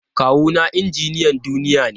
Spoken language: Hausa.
Kawuna injiniyan duniya ne.